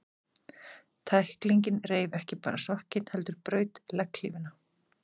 Tæklingin reif ekki bara sokkinn, heldur braut legghlífina.